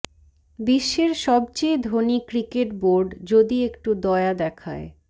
বিশ্বের সবচেয়ে ধনী ক্রিকেট বোর্ড যদি একটু দয়া দেখায়